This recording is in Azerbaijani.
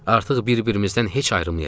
Artıq bir-birimizdən heç ayrılmayacağıq.